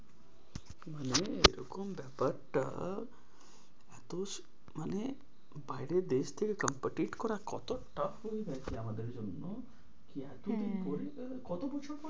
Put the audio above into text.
মানে এরকম ব্যাপারটা এতো সু মানে বাইরের দেশ থেকে competent করা কত tough হয়ে গেছে আমাদের জন্য কি এতো দিন পরে হ্যাঁ কতো বছর পরে?